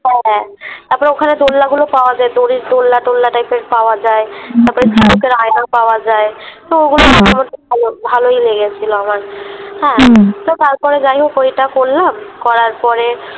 হ্যাঁ তারপরে ওখানে দোলনা গুলো পাওয়া যায় । দড়ির দোলনা টোলনা এর Type পাওয়া যায় । তারপরে ঝিনুকের আয়না পাওয়া যায় তো ওগুলো ভালো ভালোই লেগেছিলো আমার । হ্যাঁ তো তারপরে যাইহোক ওইটা করলাম । করার পরে